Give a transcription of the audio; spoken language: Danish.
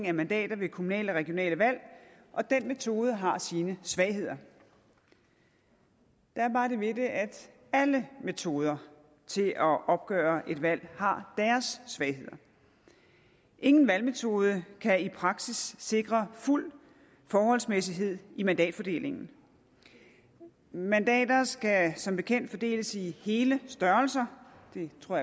af mandater ved kommunale og regionale valg og den metode har sine svagheder der er bare det ved det at alle metoder til at opgøre et valg har deres svagheder ingen valgmetode kan i praksis sikre fuld forholdsmæssighed i mandatfordelingen mandater skal som bekendt fordeles i hele størrelser det tror